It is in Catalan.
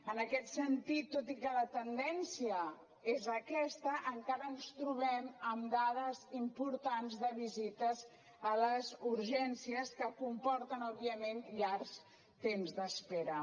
en aquest sentit tot i que la tendència és aquesta encara ens trobem amb dades importants de visites a les urgències que comporten òbviament llargs temps d’espera